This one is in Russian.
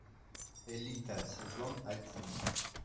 элита сезон один